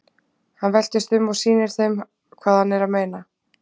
Hann veltist um og sýnir þeim hvað hann er að meina.